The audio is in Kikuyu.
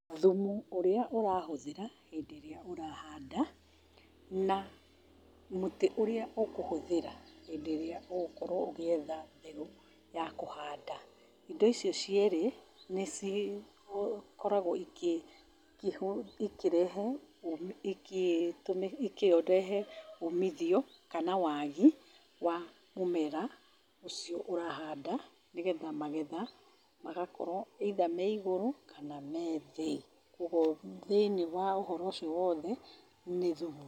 Thumu ũrĩa ũrahũthĩra, hĩndĩ rĩrĩa ũrahanda, na mũtĩ ũrĩa ũkũhũthĩra hĩndĩ ĩrĩa ũgũkorwo ũgĩetha mbegũ ya kũhanda ,indo icio cierĩ, nĩ cikoragwo ikĩ ikĩ ikĩrehe ũmi ikĩ tũmi ikĩrehe ũmithio kana wagi wa mũmera ũcio ũrahanda , nĩgetha magetha magakorwo either me igũrũ kana me thĩ, kũguo thĩiniĩ wa ũhoro ũcio wothe nĩ thumu.